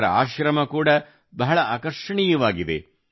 ಇದರ ಆಶ್ರಮ ಕೂಡಾ ಬಹಳ ಆಕರ್ಷಣೀಯವಾಗಿದೆ